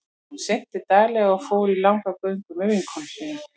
Hún synti daglega og fór í langar göngur með vinkonum sínum.